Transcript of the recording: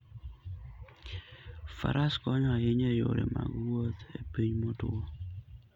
Faras konyo ahinya e yore mag wuoth e piny motwo.